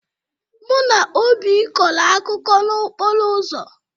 Mụ na Oby kọrọ akụkọ n'okporo ụzọ.